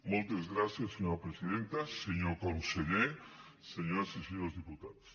moltes gràcies senyora presidenta senyor conseller senyores i senyors diputats